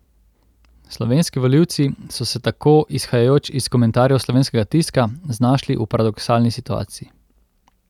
Slovenski volivci so se tako, izhajajoč iz komentarjev slovenskega tiska, znašli v paradoksalni situaciji.